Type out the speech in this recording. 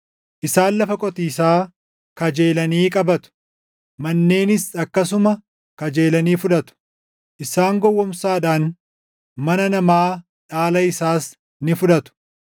Isaan lafa qotiisaa kajeelanii qabatu; manneenis akkasuma kajeelanii fudhatu. Isaan gowwoomsaadhaan mana namaa, dhaala isaas ni fudhatu.